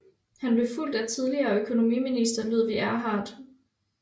Han blev fulgt af tidligere økonomiminister Ludwig Erhard